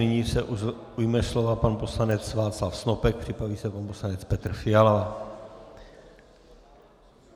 Nyní se ujme slova pan poslanec Václav Snopek, připraví se pan poslanec Petr Fiala.